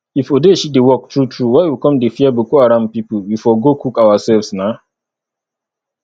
if odeshi dey work true true why we come dey fear boko haram people we for go cook ourselves nah